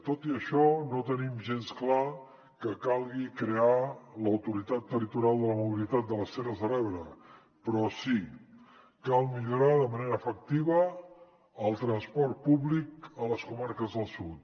tot i això no te·nim gens clar que calgui crear l’autoritat territorial de la mobilitat de les terres de l’ebre però sí cal millorar de manera efectiva el transport públic a les comarques del sud